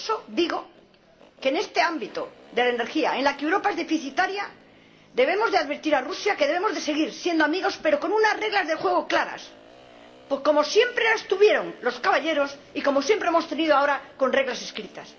por eso digo que en este ámbito de la energía, en el que Europa es deficitaria, debemos advertir a Rusia de que debemos seguir siendo amigos, pero con unas reglas de juego claras, como siempre las tuvieron los caballeros y como siempre las hemos tenido, ahora con reglas escritas.